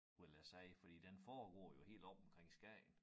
Vil jeg sige fordi den foregår jo helt oppe omkring Skagen